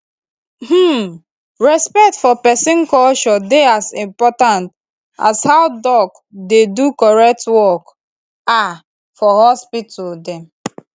hmmm respect for peson culture dey as important as how doc dey do correct work ah for hospital dem